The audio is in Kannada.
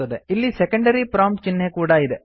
ಇಲ್ಲಿ ಸೆಕೆಂಡರಿ ಪ್ರೋಮ್ಪ್ಟ್ ಚಿಹ್ನೆ ಕೂಡಾ ಇದೆ